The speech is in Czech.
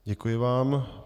Děkuji vám.